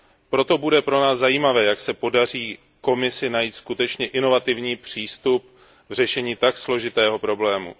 Proto pro nás bude zajímavé, jak se podaří Komisi najít skutečně inovativní přístup v řešení tak složitého problému.